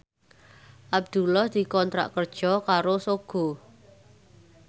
Abdullah dikontrak kerja karo Sogo